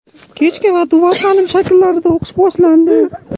kechki va dual ta’lim shakllarida o‘qish boshlandi.